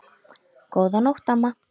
Góða nótt, amma.